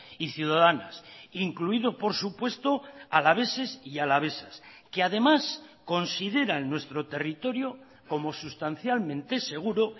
y ciudadanas incluido por supuesto alaveses y alavesas que además consideran nuestro territorio como sustancialmente seguro